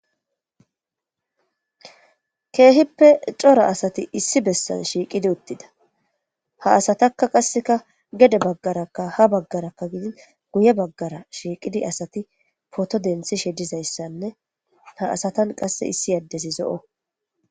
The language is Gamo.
keehippe cora asati issi bessan shiiqidi uttida ha asatakka qasseka gede baggarakka ha baggarakka gidin guye baggara shiiqidi asati poto denthishe dizayssanne ha asatan qasse issi addezi zo'o